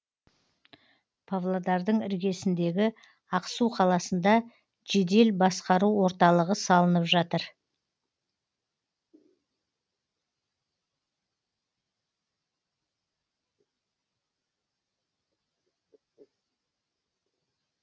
павлодардың іргесіндегі ақсу қаласында жедел басқару орталығы салынып жатыр